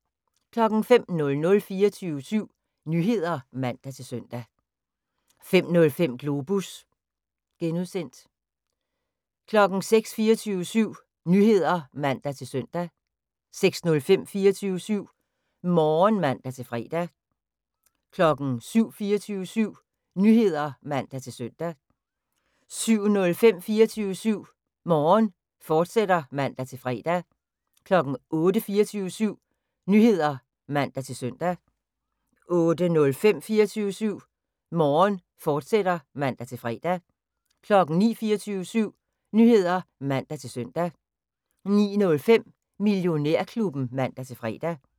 05:00: 24syv Nyheder (man-søn) 05:05: Globus (G) 06:00: 24syv Nyheder (man-søn) 06:05: 24syv Morgen (man-fre) 07:00: 24syv Nyheder (man-søn) 07:05: 24syv Morgen, fortsat (man-fre) 08:00: 24syv Nyheder (man-søn) 08:05: 24syv Morgen, fortsat (man-fre) 09:00: 24syv Nyheder (man-søn) 09:05: Millionærklubben (man-fre)